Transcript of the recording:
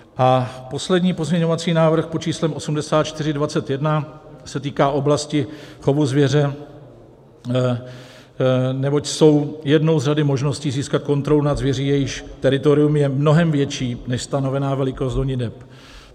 A poslední pozměňovací návrh pod číslem 8421 se týká oblasti chovu zvěře, neboť jsou jednou z řady možností, získat kontrolu nad zvěří, jejíž teritorium je mnohem větší než stanovená velikost honiteb.